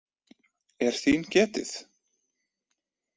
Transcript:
Er þín getið?